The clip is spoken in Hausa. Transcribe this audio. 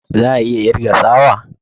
Za a iya kirga sawa?